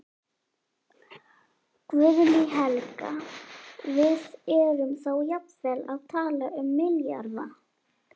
Guðný Helga: Við erum þá jafnvel að tala um milljarða?